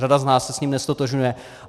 Řada z nás se s ním neztotožňuje.